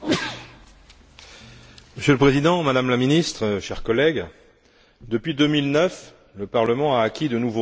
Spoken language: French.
Monsieur le Président, Madame la Ministre, chers collègues, depuis 2009, le Parlement a acquis de nouveaux droits en matière de décision.